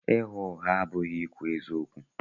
Ịgha ụgha abụghị ikwu eziokwu.